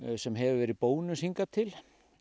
sem hefur verið bónus hingað til